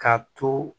Ka to